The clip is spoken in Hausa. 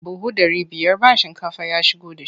Buhu ɗari biyar ba shinkafa ya shigo da shi.